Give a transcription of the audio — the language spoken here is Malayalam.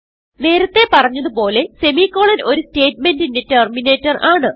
നേരത്തെ പറഞ്ഞത് പോലെ സെമിക്കോളൻ ഒരു സ്റ്റേറ്റ്മെന്റിന്റെ ടെർമിനേറ്റർ ആണ്